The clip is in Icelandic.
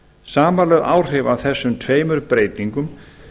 samanlögð áhrif af þessum tveimur breytingum